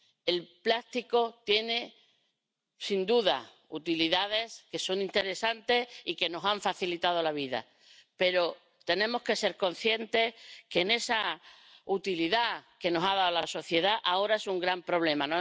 El plástico tiene, sin duda, usos que son interesantes y que nos han facilitado la vida, pero tenemos que ser conscientes de que esa utilidad que nos ha dado a la sociedad ahora es un gran problema.